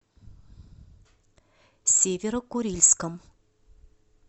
северо курильском